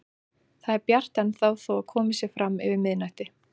Það er bjart ennþá þó að komið sé fram yfir miðnætti.